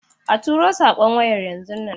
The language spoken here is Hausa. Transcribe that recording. A turo saƙon waya yanzun nan.